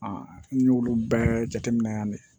n y'olu bɛɛ jateminɛ yan ne